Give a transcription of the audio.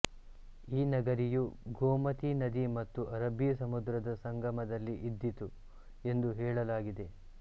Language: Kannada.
ಈ ನಗರಿಯು ಗೋಮತಿ ನದಿ ಮತ್ತು ಅರಬ್ಬಿ ಸಮುದ್ರದ ಸಂಗಮದಲ್ಲಿ ಇದ್ದೀತು ಎಂದು ಹೇಳಲಾಗಿದೆ